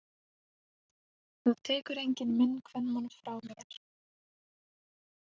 Það tekur enginn minn kvenmann frá mér!